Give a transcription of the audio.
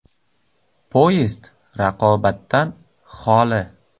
Poyezd raqobatdan xoli.